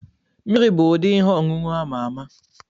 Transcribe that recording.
Mmiri bụ ụdị ihe ọṅụṅụ ama ama.